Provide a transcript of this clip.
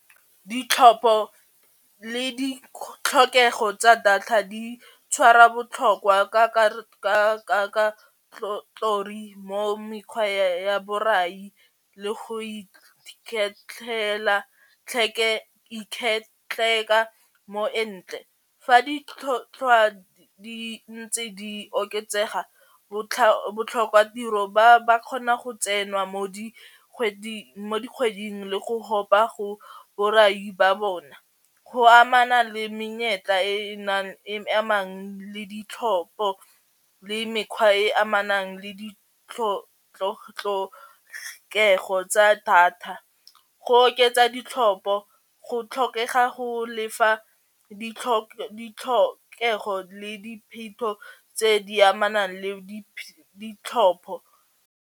Ditlhopho le ditlhokego tsa data di tshwara botlhokwa mo mekgwa ya borai le go ikgetlhela mo entle, fa ditlhotlhwa di ntse di oketsega botlhokatiro ba ba kgona go tsenwa mo dikgweding le go go ba go borai ba bona go amana le menyetla e e nang e amang le ditlhopho le mekgwa e e amanang le ditlhokego tsa data go oketsa ditlhopho go tlhokega go lefa ditlhokego le dipheto tse di amanang le ditlhopho.